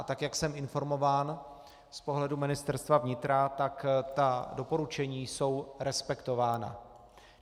A tak jak jsem informován z pohledu Ministerstva vnitra, tak ta doporučení jsou respektována.